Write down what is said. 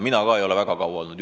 Mina ka ei ole väga kaua olnud.